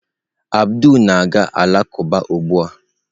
Abdul na-aga alakụba ugbu a.